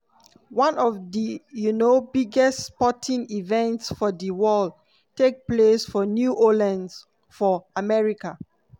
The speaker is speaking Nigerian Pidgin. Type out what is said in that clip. one of di um biggest sporting events for di world take place for new orleans for america.